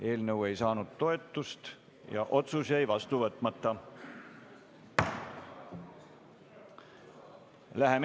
Eelnõu ei saanud toetust ja otsus jäi vastu võtmata.